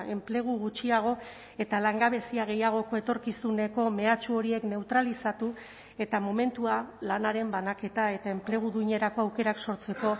enplegu gutxiago eta langabezia gehiagoko etorkizuneko mehatxu horiek neutralizatu eta momentua lanaren banaketa eta enplegu duinerako aukerak sortzeko